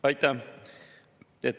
Aitäh!